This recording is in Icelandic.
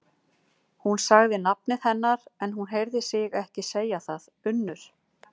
Hún sagði nafnið hennar, en hún heyrði sig ekki segja það: Unnur.